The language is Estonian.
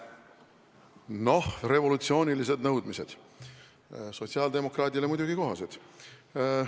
Noh, revolutsioonilised nõudmised – sotsiaaldemokraadile muidugi kohased.